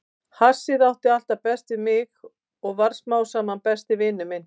Hassið átti alltaf best við mig og varð smám saman besti vinur minn.